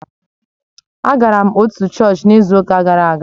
Agara m otu chọọchị n'izu gara aga